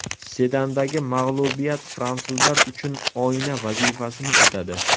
Sedandagi mag‘lubiyat fransuzlar uchun oyna vazifasini o‘tadi.